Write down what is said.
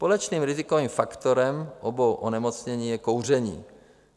Společným rizikovým faktorem obou onemocnění je kouření.